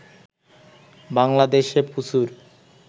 বাংলাদেশে প্রচুর